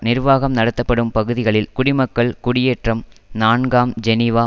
நிர்வாகம் நடத்தப்படும் பகுதிகளில் குடிமக்கள் குடியேற்றம் நான்காம் ஜெனிவா